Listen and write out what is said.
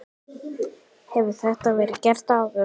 Hefur þetta verið gert áður?